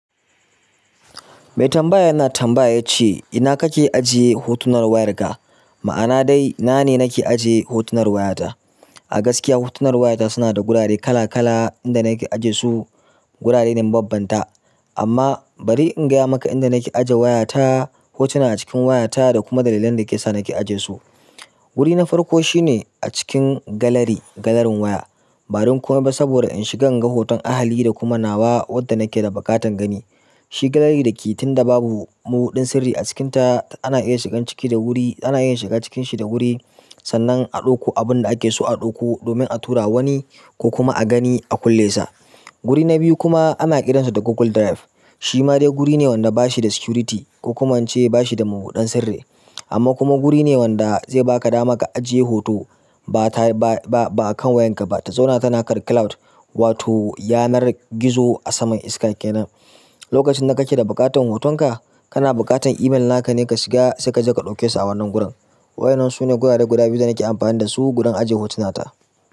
Mai tambaya yana tambaya ce, "ina kake ajiye hotunan wayarka?" Ma'ana dai, na ne nake ajiye hotunan wayarta. A gaskiya hotunan wayarta suna da gurare kala-kala inda nake aje su gurare ne mababbanta. Amma bari in gaya ma inda nake ajiye wayata hotunan a cikin wayata da kuma dalilan da yasa nake ajiye su wuri na farko shine a cikin galari, galarin waya. Ba dan komai ba saboda in shiga inga hoton ahali da kuma nawa wadda nake da buƙatan gani. Shi galari da ke tunda babu mabuɗin sirri a cikinta ana iya shigan ciki da wuri, ana iya shiga cikin shi da wuri sannan a ɗauko abun da ake so a ɗauko domin a tura wani ko kuma a gani a kulle sa. Wuri na biyu kuma ana kiran sa da Google Drive. Shima dai guri ne wanda da bashi da security ko kuma in ce bashi da mabuɗen sirri amma kuma guri ne wanda zai baka dama ka ajiye hoto ba ta, ba, ba akan wayarka ba ta zauna tana kan cloud wato yanar gizo a saman iska kenan. Lokacin da kake da buƙatan hotonka, kana buƙatan email naka ne ka shiga sai kaje ka ɗauke su a wannan gurin. Waɗannan sune gurare guda biyu da nake amfani dasu gurin ajiye hotunat a.